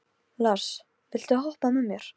Hvernig verður það takmarkað við síður og kafla?